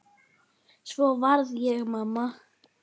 Svo varð ég mamma.